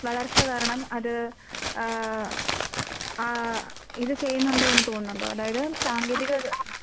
വളർച്ച കാരണം അത് ആഹ് ആഹ് ഇത് ചെയ്യുന്നൊണ്ട് എന്ന് തോന്നുന്നൊണ്ടോ അതായത് സാങ്കേതിക